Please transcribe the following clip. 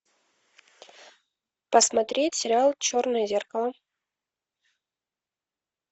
посмотреть сериал черное зеркало